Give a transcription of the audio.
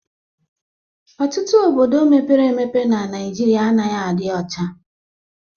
Ọtụtụ obodo mepere emepe n'Naijiria anaghị adị ọcha